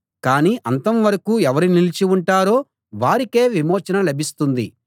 కానీ అంతం వరకూ ఎవరు నిలిచి ఉంటారో వారికే విమోచన లభిస్తుంది